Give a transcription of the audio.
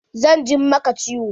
Zan jin maka ciwo.